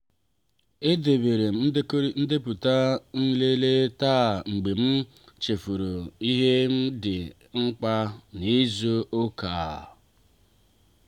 e deberem ndepụta nlele taa mgbe m chefuru ihe ndị dị mkpa n'izu ụka a.